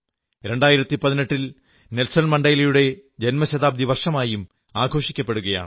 2018 Nelson മണ്ഡേലയുടെ ജന്മശതാബ്ദി വർഷമായും ആഘോഷിക്കപ്പെടുകയാണ്